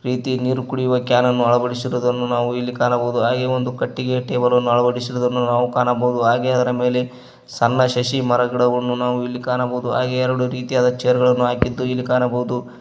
ಪ್ರೀತಿ ನೀರು ಕುಡಿಯುವ ಕ್ಯಾನ್ ಅನ್ನು ಅಳವಡಿಸಿರುವುದನ್ನು ನಾವು ಇಲ್ಲಿ ಕಾಣಬೋದು ಹಾಗೆ ಒಂದು ಕಟ್ಟಿಗೆಯ ಟೇಬಲ್ ಅಳವಡಿಸಿದ್ದನ್ನು ನಾವು ಕಾಣಬೋದು ಹಾಗೆ ಅದರ ಮೇಲೆ ಸಣ್ಣ ಶಶಿ ಮರ ಗಿಡವನ್ನು ನಾವು ಇಲ್ಲಿ ಕಾಣಬೋದು ಹಾಗೆ ಎರಡು ರೀತಿಯಾದ ಚೇರ್ ಗಳನ್ನು ಹಾಕಿದ್ದು ಇಲ್ಲಿ ಕಾಣಬೋದು.